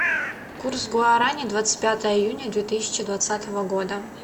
курс гуарани двадцать пятое июня две тысячи двадцатого года